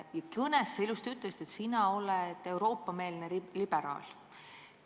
Oma kõnes sa ütlesid ilusti, et sa oled Euroopa-meelne liberaal.